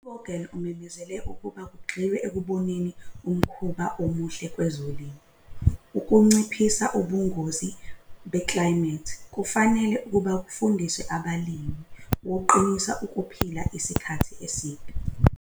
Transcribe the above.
U-Vogel wamemezele ukuba kugxilwe ekuboneni umkhuba omuhle kwezolimo ukunciphisa ubungozi beklayimethi kufanele kufundiswe abalimi ukuqinisa ukuphila isikhathi eside.